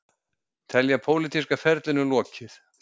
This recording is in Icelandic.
Telja pólitíska ferlinum lokið